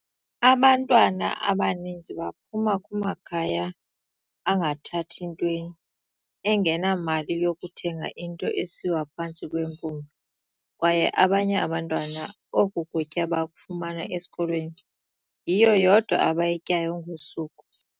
"Abantwana abaninzi baphuma kumakhaya angathathi ntweni, angenamali yokuthenga into esiwa phantsi kwempumlo, kwaye abanye abantwana oku kutya bakufumana esikolweni, yiyo yodwa abayityayo ngosuku."